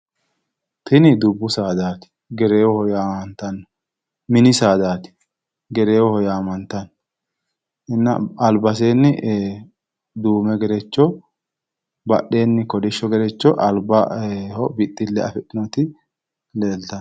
Tini dubbu saadaati gereewoho yaamammanno, mini saadaati gereewoho yaamantanno. Albaseenni duume gerecho badheseenni kolishshp gerecho albaho bixxille afidhinoti leeltanno.